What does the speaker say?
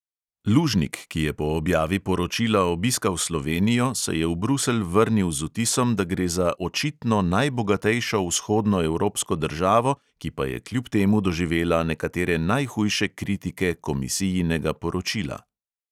Lužnik, ki je po objavi poročila obiskal slovenijo, se je v bruselj vrnil z vtisom, da gre za "očitno najbogatejšo vzhodnoevropsko državo, ki pa je kljub temu doživela nekatere najhujše kritike komisijinega poročila".